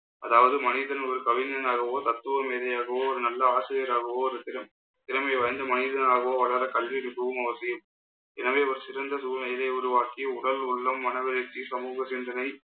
அதாவது மனிதன் ஒரு கவிஞனாகவோ தத்துவ மேதையாகவோ ஒரு நல்ல ஆசிரியராகவோ ஒவ்வொருத்தரும் திறமை வாய்ந்த மனிதனாகவோ வராத கல்வி அறிவும் அவசியம். எனவே ஒரு சிறந்த சூழ்நிலையை உருவாக்கி உடல் உள்ளம் மனவளர்ச்சி சமூக சிந்தனை